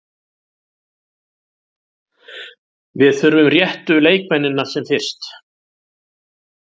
Við þurfum réttu leikmennina sem fyrst.